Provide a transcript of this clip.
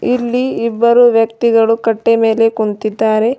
ಇಲ್ಲಿ ಇಬ್ಬರು ವ್ಯಕ್ತಿಗಳು ಕಟ್ಟೆಯ ಮೇಲೆ ಕುಂತಿದ್ದಾರೆ.